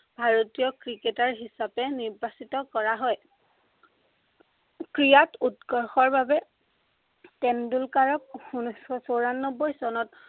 ভাৰতীয় ক্ৰিকেটাৰ হিচাপে নিৰ্বাচিত কৰা হয়। ক্ৰীড়াক উৎকৰ্ষৰ বাবে তেণ্ডলুকাৰক উনৈছশ চৌৰান্নব্বৈ চনত